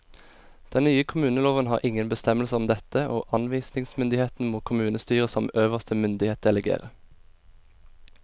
Den nye kommuneloven har ingen bestemmelser om dette, og anvisningsmyndigheten må kommunestyret som øverste myndighet delegere.